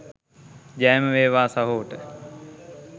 ජයම වේවා සහෝට .